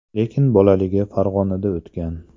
Lekin bolaligi Farg‘onada o‘tgan.